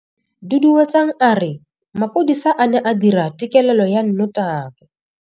Duduetsang a re mapodisa a ne a dira têkêlêlô ya nnotagi.